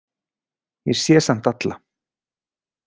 Ég sé samt alla.